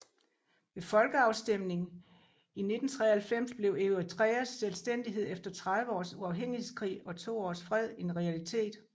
Ved folkeafstemning i 1993 blev Eritreas selvstændighed efter 30 års uafhængighedskrig og to års fred en realitet